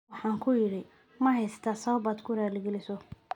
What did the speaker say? " Waxaan ku idhi: 'Ma haysatid sabab aad ku raaligeliso'.